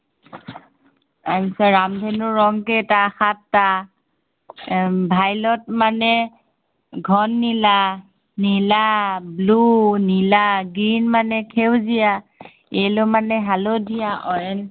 ৰামধেনুৰ ৰং কেইটা, সাতটা, এৰ violet মানে, ঘন নীলা। নীলা blue নীলা, green মানে সেউজীয়া, yellow মানে হালধীয়া, orange মানে